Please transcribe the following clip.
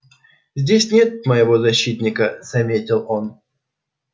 здесь нет моего защитника заметил он